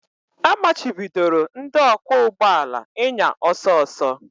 A machibidoro ndị ọkwọ ụgbọ ala ịnya ọsọ ọsọ